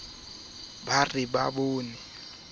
a sa phomole o ne